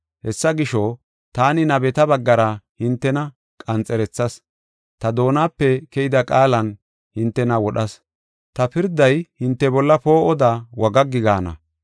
Hessa gisho, taani nabeta baggara hintena qanxerethas; ta doonape keyida qaalan hintena wodhas. Ta pirday hinte bolla poo7oda wagaggi gaana.